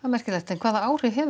hvaða áhrif hefur